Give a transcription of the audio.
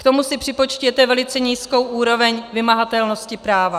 K tomu si připočtěte velice nízkou úroveň vymahatelnosti práva.